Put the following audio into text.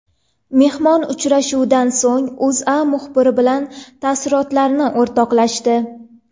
Mehmon uchrashuvdan so‘ng O‘zA muxbiri bilan taassurotlarini o‘rtoqlashdi .